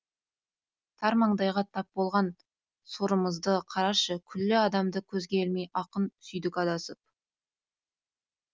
тар маңдайға тап болған сорымызды қарашы күллі адамды көзге ілмей ақын сүйдік адасып